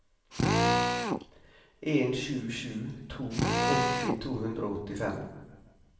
en sju sju to åtti to hundre og åttifem